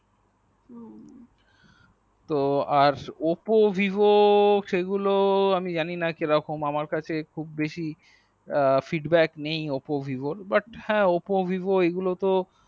তো আর oppo vivo সেগুলো আমি জানিনা কিরকম আমার কাছে খুব বেশি এ feedback নেই oppo vivo র but হা oppo vivo এইগুলো তো